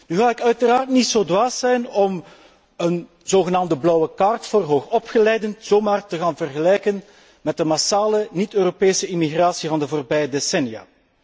Nu ga ik uiteraard niet zo dwaas zijn om een zogenaamde blauwe kaart voor hoog opgeleiden zomaar te gaan vergelijken met de massale niet Europese immigratie van de voorbije decennia.